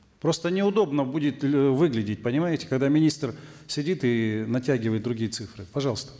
просто неудобно будет э выглядеть понимаете когда министр сидит и натягивает другие цифры пожалуйста